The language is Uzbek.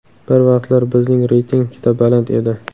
Bir vaqtlar bizning reyting juda baland edi.